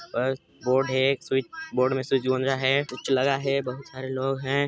बस बोर्ड है एक स्विच् बोर्ड में स्विच गूंजा है कुछ लगा है बहुत सारे लोग हैं।